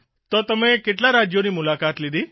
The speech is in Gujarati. તો તમે કેટલા રાજયોની મુલાકાત લીધી